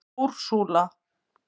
Úrsúla